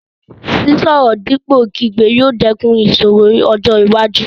Sísọ̀rọ̀ dípò kígbe yóò dẹ́kun ìṣòro ọjọ́ iwájú.